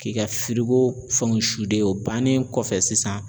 K'i ka firiko fɛnw o bannen kɔfɛ sisan